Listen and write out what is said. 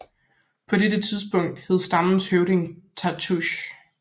På dette tidspunkt hed stammens høvding Tatoosh